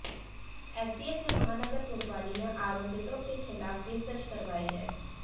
STF ने महानगर कोतवाली में आरोपितों के खिलाफ केस दर्ज करवाई है